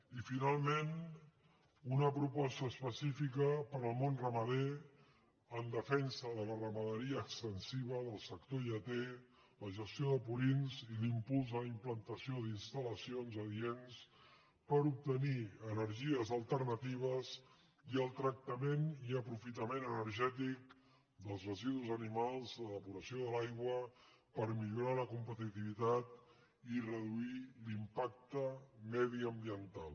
i finalment una proposta específica per al món ra·mader en defensa de la ramaderia extensiva del sector lleter la gestió de purins i l’impuls de la implantació d’instal·lacions adients per obtenir energies alternati·ves i el tractament i aprofitament energètic dels resi·dus animals de depuració de l’aigua per millorar la competitivitat i reduir l’impacte mediambiental